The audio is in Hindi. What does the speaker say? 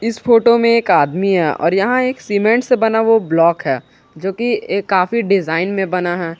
इस फोटो में एक आदमी है और यहां एक सीमेंट से बना वो ब्लॉक है जो की ये काफी डिजाइन में बना है।